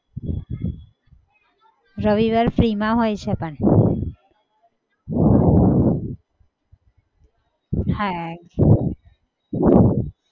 રવિવારે free માં હોય છે પણ હા